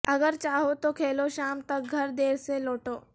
اگر چاہوں تو کھیلوں شام تک گھر دیر سے لوٹوں